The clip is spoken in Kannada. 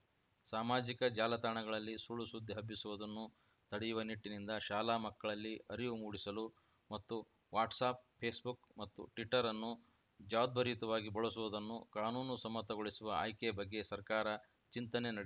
ಸಾಮಾಜಿಕ ಜಾಲತಾಣಗಳಲ್ಲಿ ಸುಳ್ಳು ಸುದ್ದಿ ಹಬ್ಬಿಸುವುದನ್ನು ತಡೆಯುವ ನಿಟ್ಟಿನಿಂದ ಶಾಲಾ ಮಕ್ಕಳಲ್ಲಿ ಅರಿವು ಮೂಡಿಸಲು ಮತ್ತು ವಾಟ್ಸಾಪ್‌ ಫೇಸ್‌ಬುಕ್‌ ಮತ್ತು ಟ್ವಿಟರ್‌ ಅನ್ನು ಜವಾಬ್ದಾರಿಯುತವಾಗಿ ಬಳಸುವುದುನ್ನು ಕಾನೂನು ಸಮ್ಮತಗೊಳಿಸುವ ಆಯ್ಕೆಯ ಬಗ್ಗೆ ಸರ್ಕಾರ ಚಿಂತನೆ ನಡೆ